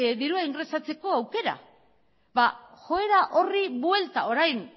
dirua ingresatzeko aukera joera horri buelta orain